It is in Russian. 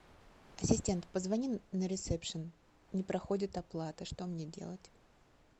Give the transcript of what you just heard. ассистент позвони на ресепшн не проходит оплата что мне делать